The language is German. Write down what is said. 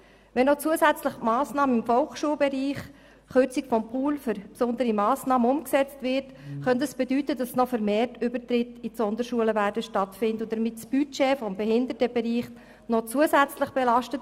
Wenn dann zusätzlich noch die Massnahme im Volksschulbereich, die Kürzung des Pools für besondere Massnahmen, umgesetzt wird, könnte das weitere Übertritte in die Sonderschulen mit sich bringen und damit das Budget des Behindertenbereichs noch zusätzlich belasten.